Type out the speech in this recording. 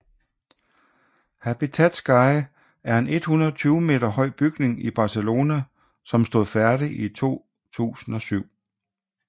Habitat Sky er en 120 meter høj bygning i Barcelona som stod færdig i 2007